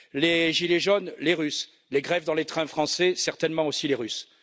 les gilets jaunes les Russes les grèves dans les trains français certainement aussi les Russes.